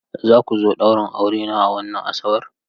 Za ku zo ɗaurin aurena a wannan Asabar?